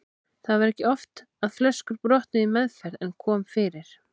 Það var ekki oft að flöskur brotnuðu í meðferð en kom fyrir.